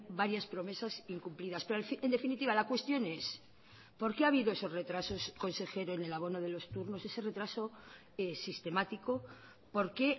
varias promesas incumplidas pero en definitiva la cuestión es por qué ha habido esos retrasos consejero en el abono de los turnos ese retraso sistemático por qué